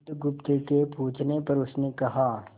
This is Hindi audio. बुधगुप्त के पूछने पर उसने कहा